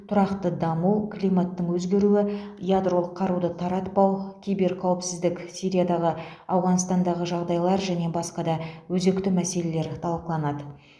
тұрақты даму климаттың өзгеруі ядролық қаруды таратпау киберқауіпсіздік сириядағы ауғанстандағы жағдайлар және басқа да өзекті мәселелер талқыланады